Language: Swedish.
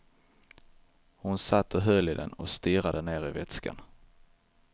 Hon satt och höll i den och stirrade ner i vätskan.